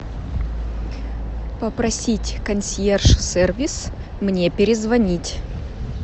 попросить консьерж сервис мне перезвонить